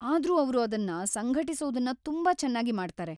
ಆದ್ರೂ ಅವ್ರು ಅದನ್ನ ಸಂಘಟಿಸೋದನ್ನ ತುಂಬಾ ಚೆನ್ನಾಗಿ ಮಾಡ್ತಾರೆ.